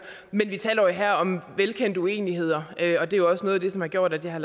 men vi taler jo her om velkendte uenigheder og det er også noget af det som har gjort at det har